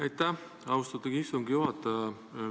Aitäh, austatud istungi juhataja!